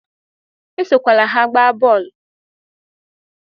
Esokwala ha agba bọọlu!